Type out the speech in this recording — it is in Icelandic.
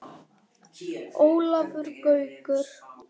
Ólafur Gaukur